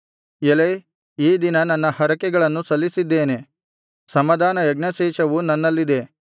ಎಲೈ ಈ ದಿನ ನನ್ನ ಹರಕೆಗಳನ್ನು ಸಲ್ಲಿಸಿದ್ದೇನೆ ಸಮಾಧಾನ ಯಜ್ಞಶೇಷವು ನನ್ನಲ್ಲಿದೆ